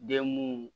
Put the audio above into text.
Den mun